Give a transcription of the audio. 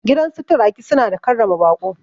Gidansu turaki suna da karrama baƙo